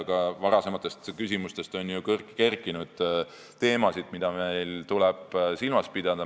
Ka varasemate küsimuste põhjal on ju kerkinud teemasid, mida meil tuleb silmas pidada.